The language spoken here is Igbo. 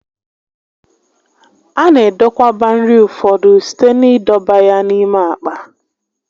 A na edokwaba nri ụfọdụ site n'idọba ya n'ime àkpà